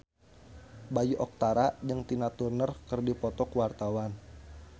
Bayu Octara jeung Tina Turner keur dipoto ku wartawan